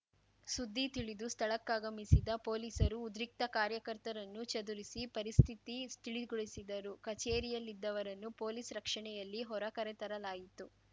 ಸುದ್ದಿ ತಿಳಿದು ಸ್ಥಳಕ್ಕಾಗಮಿಸಿದ ಪೊಲೀಸರು ಉದ್ರಿಕ್ತ ಕಾರ್ಯಕರ್ತರನ್ನು ಚದುರಿಸಿ ಪರಿಸ್ಥಿತಿ ತಿಳಿಗೊಳಿಸಿದರು ಕಚೇರಿಯಲ್ಲಿದ್ದವರನ್ನು ಪೊಲೀಸ್‌ ರಕ್ಷಣೆಯಲ್ಲಿ ಹೊರ ಕರೆತರಲಾಯಿತು